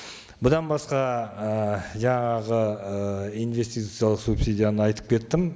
бұдан басқа ы жаңағы ыыы инвестициялық субсидияны айтып кеттім